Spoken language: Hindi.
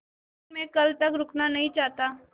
लेकिन मैं कल तक रुकना नहीं चाहता